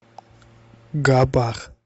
габах